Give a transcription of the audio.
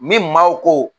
Ni maaw ko